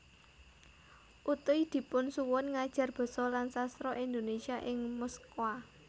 Utuy dipun suwun ngajar Basa lan Sastra Indonesia ing Moskwa